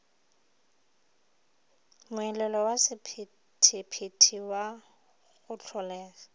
moelelo wa sephethephethe go hlolega